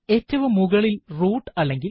ഏറ്റവും മുകളിൽ റൂട്ട് അല്ലെങ്കിൽ